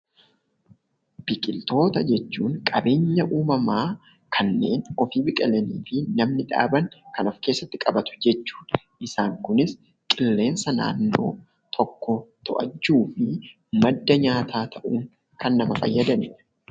Biqiltoota jechuun qabeenya uumamaa kanneen ofii biqilanii fi namni dhaaban kan of keessatti qabatu jechuudha. Isaan kunis qilleensa naannoo tokkoo to'achuufi madda nyaataa ta'uun kan nama fayyadanidha.